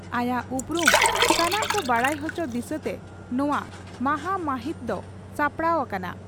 ᱟᱭᱟᱜ ᱩᱯᱨᱩᱢ ᱥᱟᱱᱟᱢ ᱠᱚ ᱵᱟᱰᱟᱭ ᱚᱪᱚ ᱫᱤᱥᱟᱹᱛᱮ ᱱᱚᱣᱟ ᱢᱟᱦᱟᱢᱟᱦᱤᱛ ᱫᱚ ᱥᱟᱯᱲᱟᱣ ᱟᱠᱟᱱᱟ ᱾